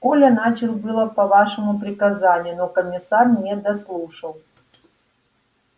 коля начал было по вашему приказанию но комиссар не дослушал